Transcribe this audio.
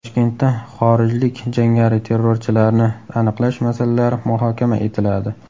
Toshkentda xorijlik jangari-terrorchilarni aniqlash masalalari muhokama etiladi.